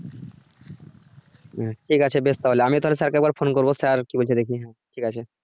হ্যা ঠিক আছে বেশ তাহলে আমিও তাহলে sir কে একবার ফোন করব sir কি বলছে দেখি হ্যা ঠিক আছে।